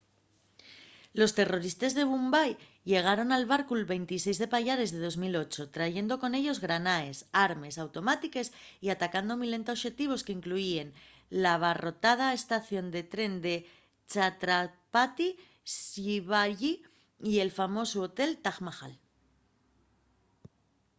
los terroristes de mumbai llegaron en barcu’l 26 de payares de 2008 trayendo con ellos granaes armes automátiques y atacando milenta oxetivos qu’incluyíen l’abarrotada estación de tren de chhatrapati shivaji y el famosu hotel taj mahal